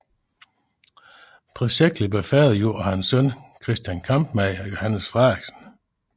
Projektet blev færdiggjort af hans søn Christian Kampmann og Johannes Frederiksen